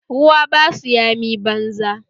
Ruwa basu yami banza